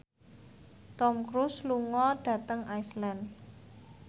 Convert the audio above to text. Tom Cruise lunga dhateng Iceland